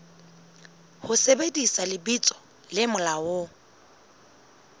ho sebedisa lebitso le molaong